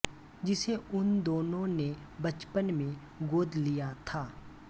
जिसे उन दोनों ने बचपन में गोद लिया था